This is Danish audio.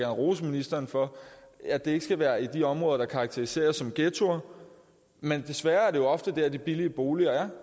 rose ministeren for at det ikke skal være i de områder der karakteriseres som ghettoer men desværre er det jo ofte der de billige boliger er